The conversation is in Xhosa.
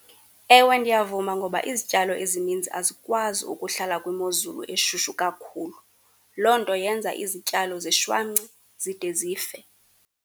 Ewe, ndiyavuma ngoba izityalo ezininzi azikwazi ukuhlala kwimozulu eshushu kakhulu. Loo nto yenza izityalo zishwance zide zife.